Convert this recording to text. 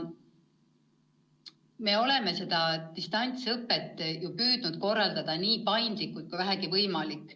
Me oleme distantsõpet püüdnud korraldada nii paindlikult, kui vähegi võimalik.